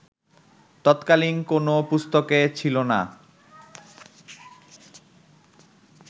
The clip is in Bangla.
তৎকালীন কোন পুস্তকে ছিল না